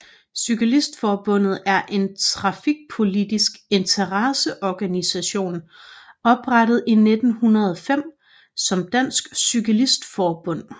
Cyklistforbundet er en trafikpolitisk interesseorganisation oprettet i 1905 som Dansk Cyklist Forbund